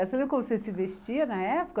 Você lembra como você se vestia na época?